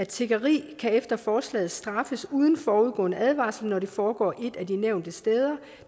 tiggeri kan efter forslaget straffes uden forudgående advarsel når det foregår et af de nævnte steder